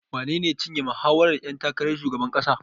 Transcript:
Wanene ya cinye mahawarar ƴan takarar shugaban ƙasar?